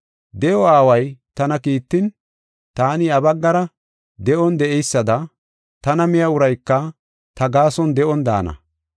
De7o Aaway tana kiittin, taani iya baggara de7on de7eysada, tana miya urayka ta gaason de7on daana.